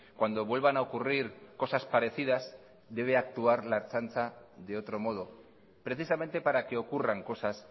cuando vuelvan a ocurrir cosas parecidas debe actuar la ertzaintza de otro modo precisamente para que ocurran cosas